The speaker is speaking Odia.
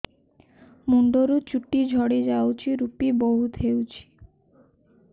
ମୁଣ୍ଡରୁ ଚୁଟି ଝଡି ଯାଉଛି ଋପି ବହୁତ ହେଉଛି